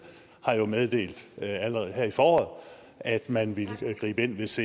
meddelt allerede her i foråret at man ville gribe ind hvis